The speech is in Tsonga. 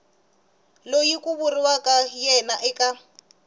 loyi ku vuriwaka yena eka